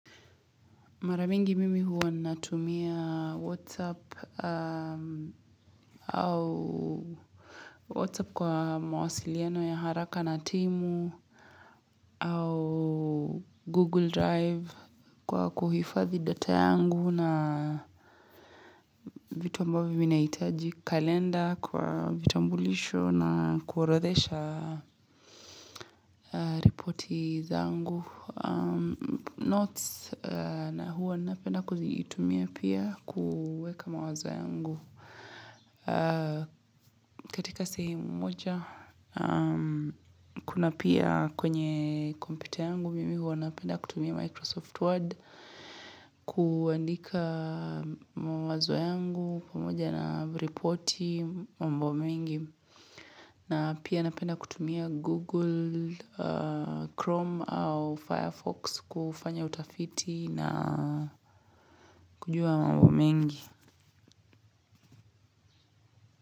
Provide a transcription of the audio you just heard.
Mara mingi mimi huwa natumia Whatsapp au Whatsapp kwa mawasiliano ya haraka na timu au Google Drive kwa kuhifadhi data yangu na vitu ambavyo vinahitaji kalenda kwa vitambulisho na kuorodhesha repoti zangu. Notes na huwa napenda kuzitumia pia kuweka mawazo yangu katika sehemu moja Kuna pia kwenye kompyuta yangu mimi huwa napenda kutumia Microsoft Word kuandika mawazo yangu pamoja na repoti mambo mengi na pia napenda kutumia Google, Chrome au Firefox kufanya utafiti na kujua mambo mengi.